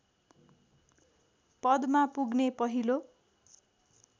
पदमा पुग्ने पहिलो